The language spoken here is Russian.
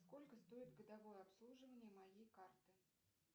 сколько стоит годовое обслуживание моей карты